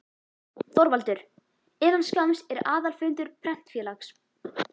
ÞORVALDUR: Innan skamms er aðalfundur Prentfélags